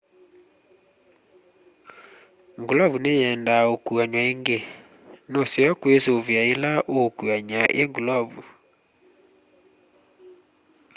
ngulovu nĩyendaa ukuanw'a ingĩ nuseo kwisuvia ila uukuany'a i ngulovu